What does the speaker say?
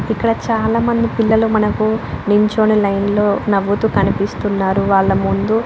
ఇక్కడ చాలామంది పిల్లలు మనకు నించొని లైన్లో నవ్వుతూ కనిపిస్తున్నారు. వాళ్ల ముందు --